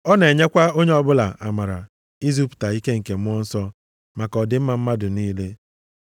Ọ na-enyekwa onye ọbụla amara izipụta ike nke Mmụọ Nsọ maka ọdịmma mmadụ niile.